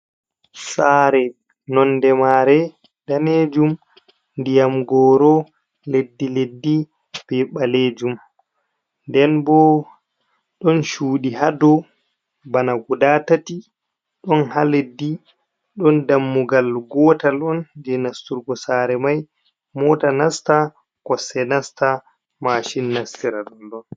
Sare nonde mare danejum, ndiyam goro leddi leddi be ɓalejum, nden bo ɗon cuɗi hadow bana gudatati, ɗon ha leddi, ɗon dammugal gotal on je nasturgo sare mai, mota nasta kosɗe nastan mashin nastira ɗoɗon.